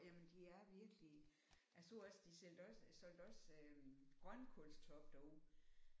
Jamen de er virkelig jeg så også de solgte også solgte også grønkålstoppe derude